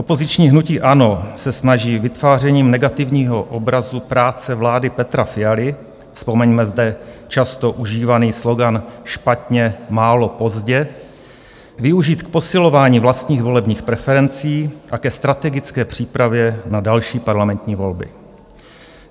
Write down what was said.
Opoziční hnutí ANO se snaží vytvářením negativního obrazu práce vlády Petra Fialy - vzpomeňme zde často užívaný slogan: špatně, málo, pozdě - využít k posilování vlastních volebních preferencí a ke strategické přípravě na další parlamentní volby.